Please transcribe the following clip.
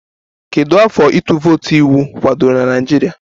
Kedu afọ ịtụ vootu iwu kwadoro na Naịjirịa?